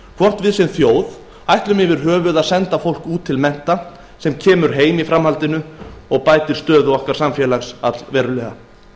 hvort við sem þjóð ætlum að senda fólk út til mennta sem kemur síðan heim og bætir stöðu samfélagsins allverulega